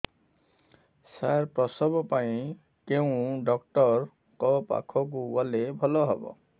ସାର ପ୍ରସବ ପାଇଁ କେଉଁ ଡକ୍ଟର ଙ୍କ ପାଖକୁ ଗଲେ ଭଲ ହେବ